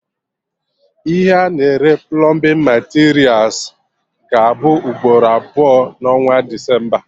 Ihe a na-ere plọmbin materials ga-abụ ugboro abụọ na onwa Desemba